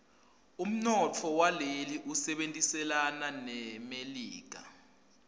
umnotfo waleli usebentelana nemelika